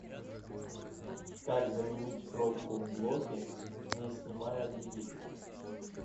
как заменить пробку в блоке не снимая двигателя